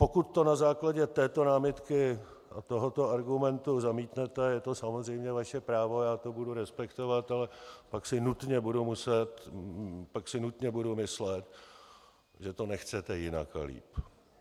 Pokud to na základě této námitky a tohoto argumentu zamítnete, je to samozřejmě vaše právo, já to budu respektovat, ale pak si nutně budu myslet, že to nechcete jinak a líp.